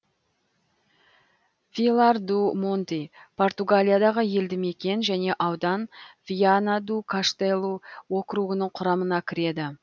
вилар ду монти португалиядағы елді мекен және аудан виана ду каштелу округінің құрамына кіреді